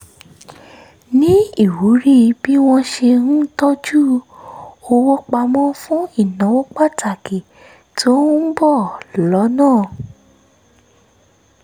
ní ìwúrí bí wọ́n ṣe ń tọ́jú owó pamọ́ fún ìnáwó pàtàkì tó ń bọ̀ lọ́nà